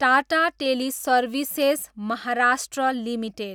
Tata teleservices, Maharashtra, limited